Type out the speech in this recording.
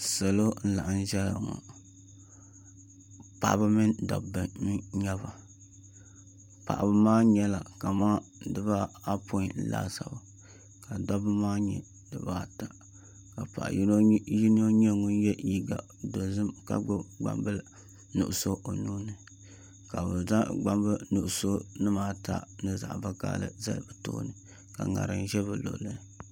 Salo n laɣam ʒɛya ŋɔ paɣaba mini dabba n nyɛba paɣaba maa nyɛla kamani dibaapoin laasabu ka dabba maa nyɛ dibaata ka paɣa yino nyɛ ŋun yɛ liiga dozim ka gbubi gbambili nuɣso o nuuni ka bi zaŋ gbambili nuɣso ni ata ni zaɣ vakaɣali zali bi tooni ka ŋarim ʒɛ bi luɣuli